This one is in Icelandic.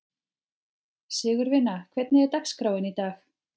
Sigurvina, hvernig er dagskráin í dag?